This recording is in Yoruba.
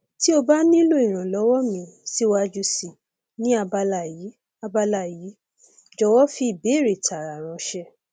ti o ba nilo iranlọwọ mi siwaju sii ni abala yii abala yii jọwọ fi ibeere taara ranṣẹ